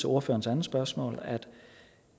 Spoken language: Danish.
ordførerens andet spørgsmål at